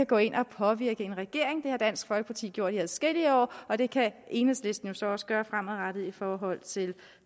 gå ind og påvirke en regering det har dansk folkeparti gjort i adskillige år og det kan enhedslisten jo så også gøre fremadrettet i forhold til